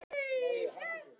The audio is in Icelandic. Pabbi ræskti sig en sagði svo